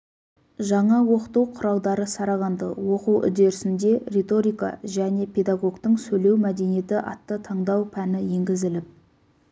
жаңа оқыту құралдары сараланды оқу үдерісінде риторика және педагогтың сөйлеу мәдениеті атты таңдау пәні енгізіліп